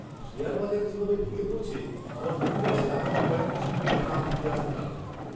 Share বাজার যেভাবে ভেঙে পড়েছে, আমার মন বলছে আগামী কয়েক মাসের মধ্যে তা আর ফিরে আসতে পারবে না।